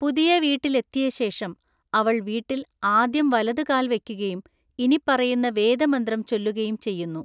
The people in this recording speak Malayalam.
പുതിയ വീട്ടിലെത്തിയ ശേഷം, അവൾ വീട്ടിൽ ആദ്യം വലതു കാൽ വയ്ക്കുകയും ഇനിപ്പറയുന്ന വേദമന്ത്രം ചൊല്ലുകയും ചെയ്യുന്നു.